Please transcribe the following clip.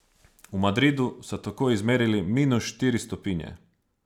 V Madridu so tako izmerili minus štiri stopinje.